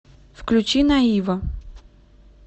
включи наива